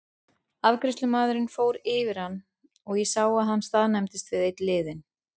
Afgreiðslumaðurinn fór yfir hann og ég sá að hann staðnæmdist við einn liðinn.